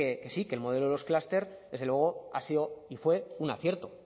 que sí que el modelo de los clúster desde luego ha sido y fue un acierto